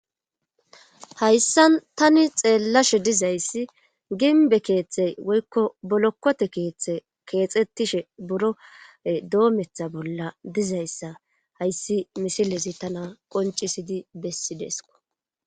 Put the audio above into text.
hayssan tani xeellashe dizayssi ginbe keeththey woykko bolokkote keeththe keexettishe buro doometha bolla dizayssa hayssi misilezi tana qoncisidi bessideesko